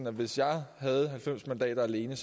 at hvis jeg havde halvfems mandater alene